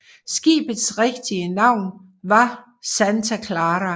Skibets rigtige navn var Santa Clara